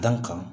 Dan kan